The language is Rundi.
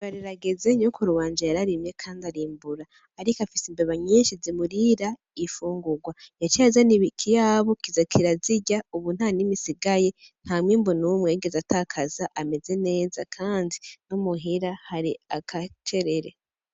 Iyimbura rirageze, nyokuru wanje yararimye kandi arimbura. Ariko afise imbeba nyinshi zimurira infungurwa, yaciye azana ikiyabu kirazirya ubu nta nimwe isigaye nta mwimbu numwe yigeze atakaza kandi no muhira agacerere.